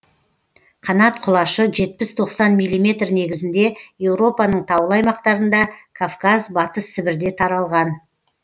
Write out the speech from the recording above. қанат құлашы жетпіс тоқсан миллиметр негізінде еуропаның таулы аймақтарында кавказ батыс сібірде таралған